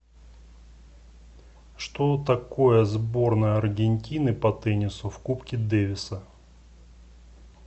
что такое сборная аргентины по теннису в кубке дэвиса